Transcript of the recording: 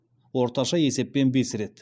орташа есеппен бес рет